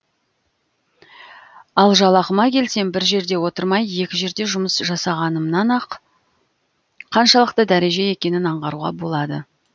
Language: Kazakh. ал жалақыма келсем бір жерде отырмай екі жерде жұмыс жасағанымнан ақ қаншалықты дәреже екенін аңғаруға болады